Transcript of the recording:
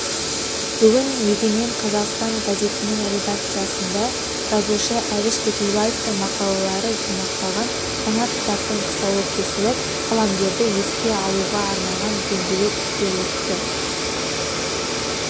бүгін егемен қазақстан газетінің редакциясында жазушы әбіш кекілбаевтың мақалалары жинақталған жаңа кітаптың тұсауы кесіліп қаламгерді еске алуға арналған дөңгелек үстел өтті